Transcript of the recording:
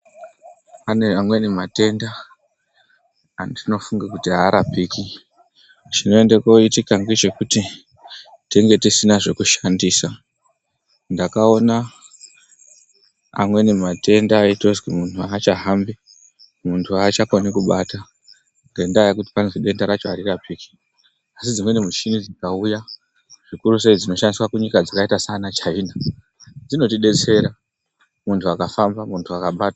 Pane amweni matenda atinofunga kuti aarapik,i chinoenda koitika ngechekuti, tenge tisina zvekushandisa. Ndakaona amweni matenda aitonzi muntu aachahambi, muntu achakoni kubata, ngendaa yekuti vanoti denda rakhona aririrapiki. Asi dzimweni michini dzikauya, zvikurusei zvinoshandiswa munyika dzakaita seChina, dzinotidetsera muntu akafamba.